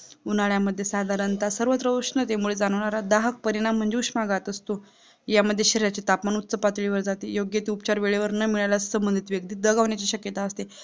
उन्हाळ्यामधें साधारणतः सर्वत्र उंष्णतेमुळे जाणवणारा दाहक परिणाम म्हणजे उंशनघात असतो यामध्ये शरीराचे तापमान उच्च पातळीवर जाते योग्य ते उपचार न मिळाल्यास संबांधित व्यक्ती दगावण्याची शकत्या असते